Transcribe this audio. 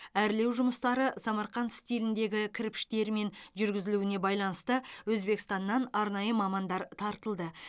әрлеу жұмыстары самарқанд стиліндегі кірпіштерімен жүргізілуіне байланысты өзбекстаннан арнайы мамандар тартылды